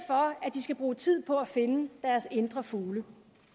de skal bruge tid på at finde deres indre fugle